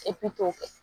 Epi k'o kɛ